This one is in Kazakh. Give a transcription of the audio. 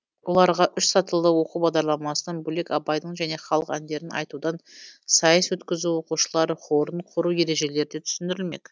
оларға үш сатылы оқу бағдарламасынан бөлек абайдың және халық әндерін айтудан сайыс өткізу оқушылар хорын құру ережелері де түсіндірілмек